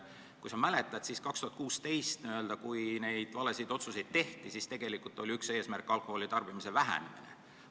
Kui sa mäletad, siis aastal 2016, kui neid valesid otsuseid tehti, oli üks eesmärk tarbimise vähendamine.